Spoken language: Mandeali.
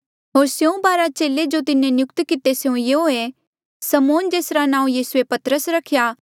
होर स्यों बारा चेले जो तिन्हें नियुक्त किते स्यों यूंआं ऐें समौन जेसरा नांऊँ यीसूए पतरस रख्या